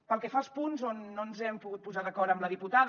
pel que fa als punts on no ens hem pogut posar d’acord amb la diputada